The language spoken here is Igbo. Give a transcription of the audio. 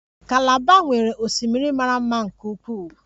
Kalaba nwere osimiri mara mma nke ukwuu